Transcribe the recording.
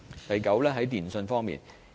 第九，是電訊方面。